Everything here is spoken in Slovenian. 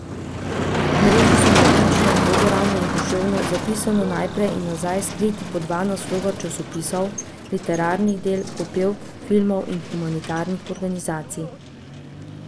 V mreži so navpično, vodoravno in poševno, zapisano naprej in nazaj skriti po dva naslova časopisov, literarnih del, popevk, filmov in humanitarnih organizacij.